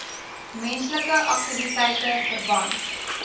menslike aktiwiteite verband